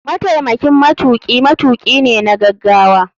Mataimakin matuki matuki ne na gagawa.